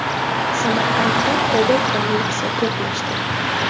Samarqandda Cobalt va Nexia to‘qnashdi.